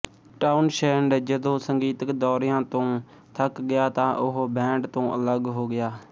Townshend ਜਦੋਂ ਸੰਗੀਤਕ ਦੌਰਿਆਂ ਤੋਂ ਥੱਕ ਗਿਆ ਤਾਂ ਉਹ ਬੈਂਡ ਤੋਂ ਅੱਲਗ ਹੋ ਗਿਆ